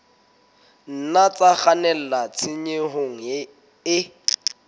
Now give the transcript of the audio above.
nna tsa kgannela tshenyong e